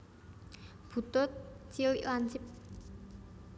Butut cilik lancip